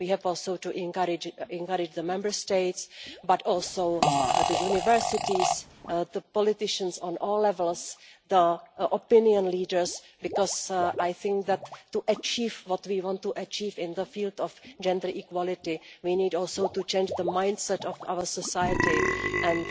We have to encourage the Member States, but also the universities, the politicians on all levels and the opinion leaders, because I think that to achieve what we want to achieve in the field of gender equality we need also the change the mindset of our society, and